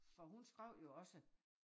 For hun skrev jo også